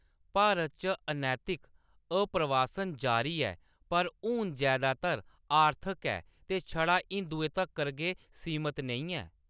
भारत च अनैतिक आप्रवासन जारी ऐ पर हून जैदातर आर्थक ऐ ते छड़ा हिंदुएं तक्कर गै सीमत नेईं ऐ।